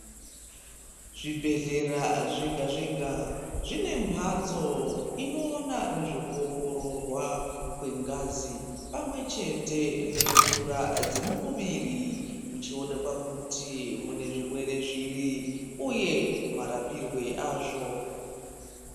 Zvibhehlera zvega zvega zvine mbatso inoona ngezve kuongororwa kwengazi pamwe chete nemvura dzemuviri kuchionekwa kuti mune zvirwere zviri uye marapirwe azvo .